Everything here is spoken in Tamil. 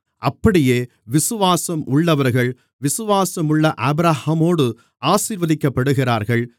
அப்படியே விசுவாசம் உள்ளவர்கள் விசுவாசமுள்ள ஆபிரகாமோடு ஆசீர்வதிக்கப்படுகிறார்கள்